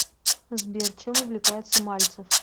сбер чем увлекается мальцев